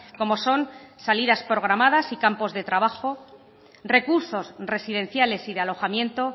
como son salidas programadas y campos de trabajo recursos residenciales y de alojamiento